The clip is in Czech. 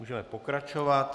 Můžeme pokračovat.